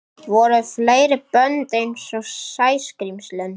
Voru fleiri bönd einsog Sæskrímslin?